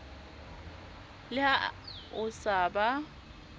le ha o sa ba